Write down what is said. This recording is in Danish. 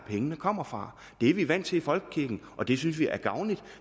pengene kommer fra det er vi vant til i folkekirken og det synes vi er gavnligt